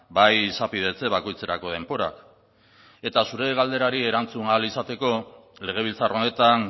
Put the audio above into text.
bai izapidetze bakoitzerako denborak eta zure galderari erantzun ahal izateko legebiltzar honetan